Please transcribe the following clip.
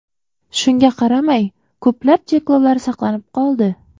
Shunga qaramay, ko‘plab cheklovlar saqlanib qoldi.